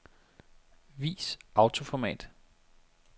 Vis autoformat.